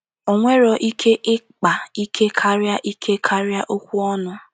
O nwere ike ịkpa ike karịa ike karịa okwu ọnụ.